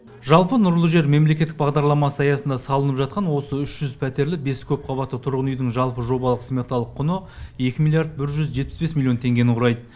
жалпы нұрлы жер мемлекеттік бағдарламасы аясында салынып жатқан осы үш жүз пәтерлі бес көпқабатты нысандардың жобалық сметалық құны екі миллиард бір жүз жетпіс бес миллион теңгені құрайды